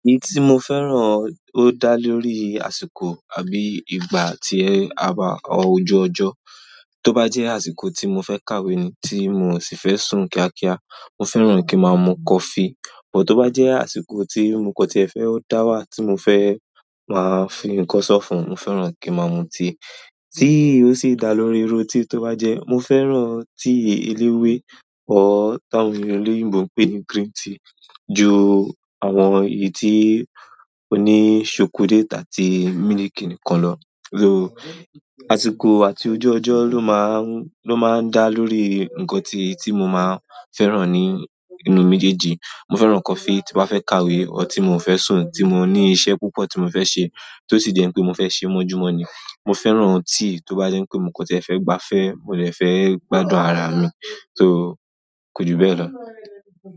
Èyí tí mo fẹ́ràn ó dá lórí àsìkò àbí ìgbà àti àba ojú ọjọ́. Tó bá jẹ́ àsìkò tí mo fẹ́ kàwé ni tí mo sì fẹ́ sùn kíákíá, mo fẹ́ràn kí ma mu coffee. But tó bá jẹ́ àsìkò tí nǹkan tí ẹ fẹ́ ó dá wá tí mo fẹ́ máa fi nǹkan sọ́fun, mo fẹ́ràn kí ma mu tea tí ó sì dá lórí irú tea tó bá jẹ́. Mo fẹ́ràn tea eléwé ọ ti áwọn oloyinbo ń pè ní green tea ju àwọn èyí tí ó ní ṣòkòlati àti miliki nìkan lọ. Àsìkò àti ojú ọjọ́ ló máa ń, ló máa ń dá lórí nǹkan tí, tí mo máa fẹ́ràn ní inú meejèji. Mo fẹ́ràn coffee tí mo bá fẹ́ kàwé ọ tí mo ò fẹ́ sùn tí mo ní iṣẹ́ púpọ̀ tí mo fẹ́ ṣe tó sì jẹ́ pé mo fẹ́ ṣe mọ́júmọ̀ ni. Mo fẹ́ràn tea to ba je pe mo kan fe gbafe àbí mo kan fe gbádùn ara mi.